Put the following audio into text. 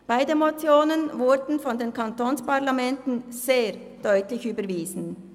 Beide Motionen wurden von den Kantonsparlamenten sehr deutlich überwiesen.